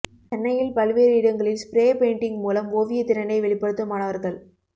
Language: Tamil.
சென்னையில் பல்வேறு இடங்களில் ஸ்ப்ரே பேய்ன்டிங் மூலம் ஓவிய திறனை வெளிப்படுத்தும் மாணவர்கள்